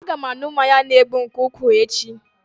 Aga m aṅụ mmanya na-egbu nke ukwuu echi